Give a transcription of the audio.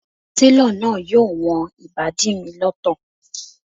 Télọ̀ náà yóò wọn ìbàdí mi lọ́tọ̀